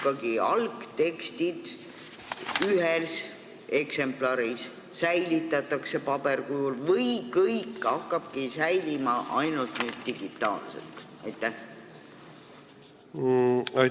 Kas algtekstid ühes eksemplaris paberkujul ikkagi säilitatakse või kõik hakkabki nüüd ainult digitaalselt säilima?